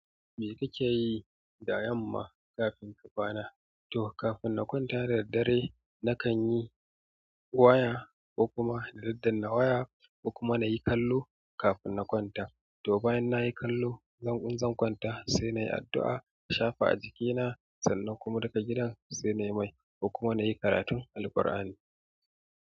Me kake yi da yamma kafin ka kwana? To kafin na kwanta da daddare, na kan yi waya ko kuma daddanna waya, ko kuma na yi kallo kafin na kwanta. To bayan nayi kallo, zanƙun in zan kwanta, sai na yi addu'a, na shafa a jikina, sannan kuma duka gidan sai na yi mai, ko kuma na yi karatun Alqur'ani.